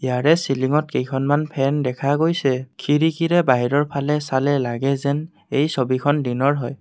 তাৰে চিলিংত কেইখনমান ফেন দেখা গৈছে খিৰিকীৰে বাহিৰৰ ফালে চালে লগে যেন এই ছবিখন দিনৰ হয়।